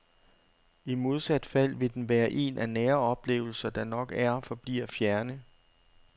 I modsat fald vil den være en af nære oplevelser, der nok er og forbliver fjerne.